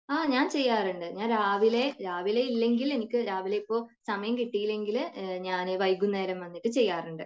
ആ ഞാൻ ചെയ്യാറുണ്ട്. ഞാൻ രാവിലെ , രാവിലെ ഇല്ലെങ്കിൽ എനിക്ക് രാവിലെ ഇപ്പൊ സമയം കിട്ടിയില്ലെങ്കിൽ ഞാൻ വൈകുന്നേരം വന്നിട്ട് ചെയ്യാറുണ്ട്